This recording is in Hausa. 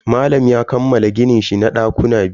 Malam ya kammala gininshi na dakuna biyu.